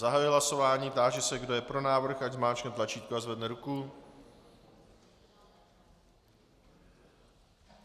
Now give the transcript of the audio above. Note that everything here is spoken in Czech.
Zahajuji hlasování, táži se kdo je pro návrh, ať zmáčkne tlačítko a zvedne ruku.